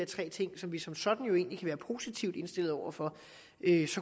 tre ting som vi som sådan jo egentlig kan være positivt indstillet over for